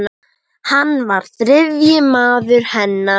Hann var þriðji maður hennar.